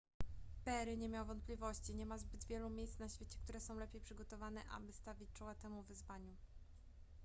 perry nie miał wątpliwości nie ma zbyt wielu miejsc na świecie które są lepiej przygotowane aby stawić czoła temu wyzwaniu